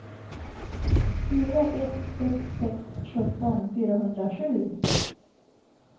fyra ett sex sex sjutton fyrahundrasju